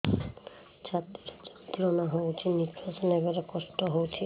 ଛାତି ରେ ଯନ୍ତ୍ରଣା ହଉଛି ନିଶ୍ୱାସ ନେବାରେ କଷ୍ଟ ହଉଛି